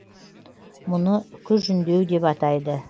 мұны үкі жүндеу деп атайды